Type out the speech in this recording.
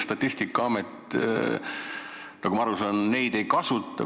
Statistikaamet, nagu ma aru saan, neid ei kasuta.